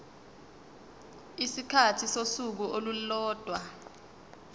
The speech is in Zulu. isikhathi sosuku olulodwa